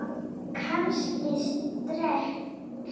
Kannski stress?